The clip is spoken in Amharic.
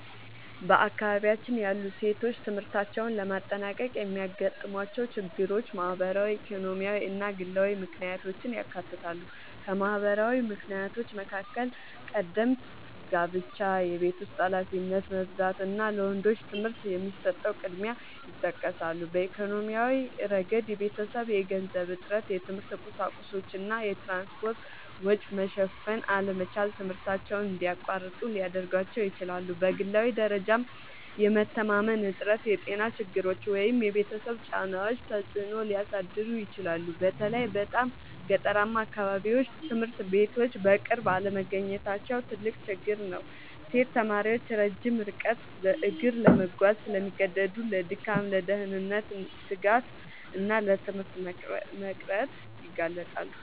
በአካባቢያችን ያሉ ሴቶች ትምህርታቸውን ለማጠናቀቅ የሚያጋጥሟቸው ችግሮች ማህበራዊ፣ ኢኮኖሚያዊ እና ግላዊ ምክንያቶችን ያካትታሉ። ከማህበራዊ ምክንያቶች መካከል ቀደምት ጋብቻ፣ የቤት ውስጥ ኃላፊነት መብዛት እና ለወንዶች ትምህርት የሚሰጠው ቅድሚያ ይጠቀሳሉ። በኢኮኖሚያዊ ረገድ የቤተሰብ የገንዘብ እጥረት፣ የትምህርት ቁሳቁሶች እና የትራንስፖርት ወጪ መሸፈን አለመቻል ትምህርታቸውን እንዲያቋርጡ ሊያደርጋቸው ይችላል። በግላዊ ደረጃም የመተማመን እጥረት፣ የጤና ችግሮች ወይም የቤተሰብ ጫናዎች ተጽዕኖ ሊያሳድሩ ይችላሉ። በተለይ በጣም ገጠራማ አካባቢዎች ትምህርት ቤቶች በቅርብ አለመገኘታቸው ትልቅ ችግር ነው። ሴት ተማሪዎች ረጅም ርቀት በእግር ለመጓዝ ስለሚገደዱ ለድካም፣ ለደህንነት ስጋት እና ለትምህርት መቅረት ይጋለጣሉ